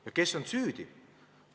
Ja kes on süüdi?